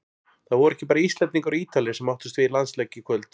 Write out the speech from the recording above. Það voru ekki bara Íslendingar og Ítalir sem áttust við í landsleik í kvöld.